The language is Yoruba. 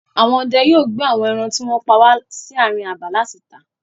Àwọn ọdẹ yóò gbé àwọn ẹran tí wọ́n pa wà sí àárín abà láti tà.